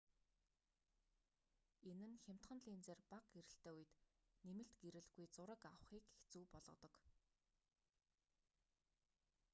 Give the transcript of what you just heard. энэ нь хямдхан линзээр бага гэрэлтэй үед нэмэлт гэрэлгүй зураг авахыг хэцүү болгодог